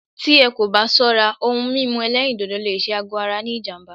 Tí ẹ́ kò bá ṣọ́rá, òhún mímú ẹ̀lẹ́rìndodò lé ṣé àgọ ara ní jám̀bá.